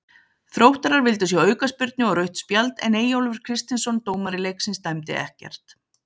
Þróttarar vildu sjá aukaspyrnu og rautt spjald en Eyjólfur Kristinsson dómari leiksins dæmdi ekkert.